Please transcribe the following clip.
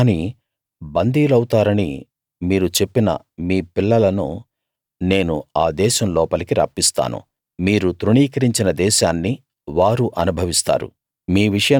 కాని బందీలౌతారని మీరు చెప్పిన మీ పిల్లలను నేను ఆ దేశం లోపలికి రప్పిస్తాను మీరు తృణీకరించిన దేశాన్ని వారు అనుభవిస్తారు